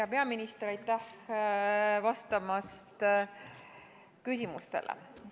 Hea peaminister, aitäh vastamast küsimustele!